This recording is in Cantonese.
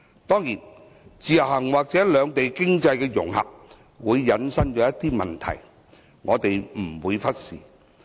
當然，自由行或兩地經濟融合會引申一些問題，我們不會忽視。